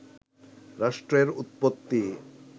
রাষ্ট্রের উৎপত্তি